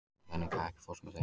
Jannika, ekki fórstu með þeim?